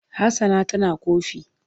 Hassana tana ƙofi.